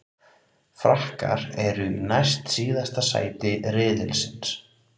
Frakkar eru í næst síðasta sæti riðilsins.